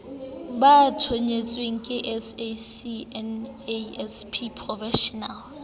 ba thontsweng ke sacnasp professional